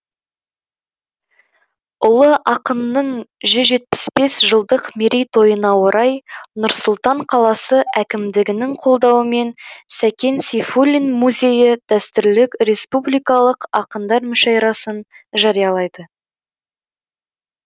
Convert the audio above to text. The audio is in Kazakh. ұлы ақынның жүз жетпіс бес жылдық мерейтойына орай нұр сұлтан қаласы әкімдігінің қолдауымен сәкен сейфуллин музейі дәстүрлі республикалық ақындар мүшәйрасын жариялайды